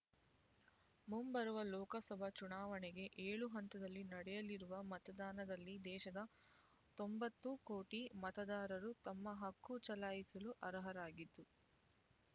ಮುಂಬರುವ ಲೋಕಸಭಾ ಚುನಾವಣೆಗೆ ಏಳು ಹಂತದಲ್ಲಿ ನಡೆಯಲಿರುವ ಮತದಾನದಲ್ಲಿ ದೇಶದ ತೊಂಬತ್ತು ಕೋಟಿ ಮತದಾರರು ತಮ್ಮ ಹಕ್ಕು ಚಲಾಯಿಸಲು ಅರ್ಹರಾಗಿದ್ದು